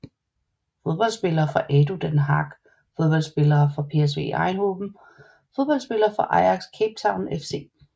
Fodboldspillere fra ADO Den Haag Fodboldspillere fra PSV Eindhoven Fodboldspillere fra Ajax Cape Town FC